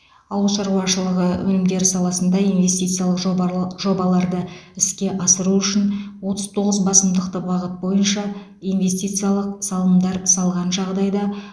ауыл шаруашылығы өнімдері саласында инвестициялық жобарлар жобаларды іске асыру үшін отыз тоғыз басымдықты бағыт бойынша инвестициялық салымдар салған жағдайда